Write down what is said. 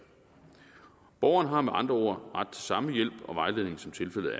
borgeren har med andre ord ret til samme hjælp og vejledning som tilfældet